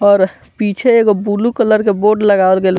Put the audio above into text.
और पीछे एगो ब्लू कलर के बोर्ड लगावल गेल --